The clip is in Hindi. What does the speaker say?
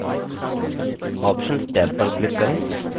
options टैब पर click करें